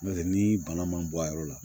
N'o tɛ ni bana ma bɔ a yɔrɔ la